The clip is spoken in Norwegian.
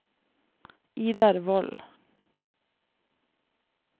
Idar Wold